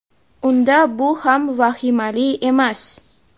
unda bu ham vahimali emas.